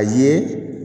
A ye